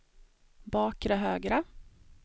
bakre högra